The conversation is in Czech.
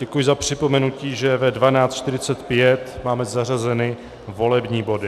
Děkuji za připomenutí, že ve 12.45 máme zařazeny volební body.